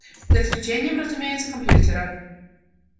за исключением разумеется компьютера